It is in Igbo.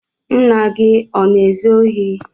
Ńnà gị ọ na-ezu ohi?